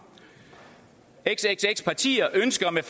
xxx partier ønsker med